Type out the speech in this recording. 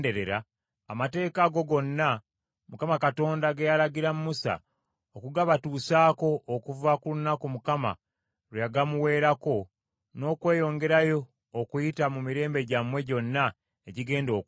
amateeka ago gonna Mukama Katonda ge yalagira Musa okugabatuusaako okuva ku lunaku Mukama lwe yagamuweerako n’okweyongerayo okuyita mu mirembe gyammwe gyonna egigenda okujja,